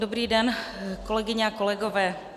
Dobrý den, kolegyně a kolegové.